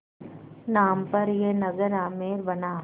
नाम पर यह नगर आमेर बना